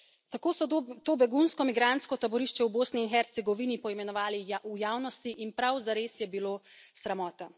Tako so to begunsko migrantsko taborišče v Bosni in Hercegovini poimenovali v javnosti in prav zares je bilo sramota.